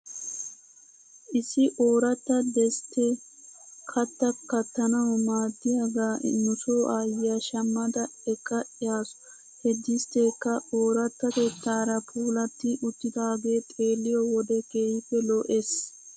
Issi ooratta desttee kattaa kattanaw maaddiyaagaa nuso aayyiyaa shamada ekka yaasu. He distteekka oorattatettaara puulatti uttidaagee xeelliyoo wode keehippe lo'es.